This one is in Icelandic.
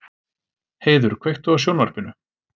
Heiður, kveiktu á sjónvarpinu.